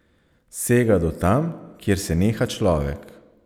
Sega do tam, kjer se neha človek.